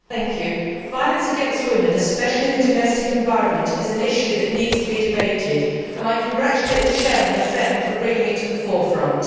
Mr President, violence against women, especially in the domestic environment, is an issue that needs to be debated and I congratulate the Chair of the FEMM Committee for bringing it to the forefront.